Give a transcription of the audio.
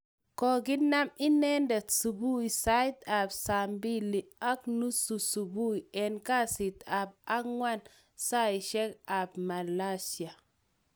Koginam inendet subui sait ap saa mbili ag nusu subui en kasit ap angwan saisike ap Malaysia,.